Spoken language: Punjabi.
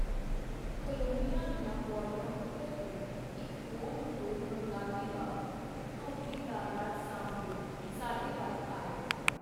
ਕਾਲੋਨੀਆਂ ਦੀਆਂ ਪੌੜੀਆਂ ਉਤਰ ਕੇ ਇਕ ਗੋਲ-ਮਟੋਲ ਬੰਗਾਲੀ ਬਾਬੂ, ਧੋਤੀ ਦਾ ਲੜ ਸਾਂਭਦਿਓ, ਸਾਡੇ ਵਲ ਆਏ.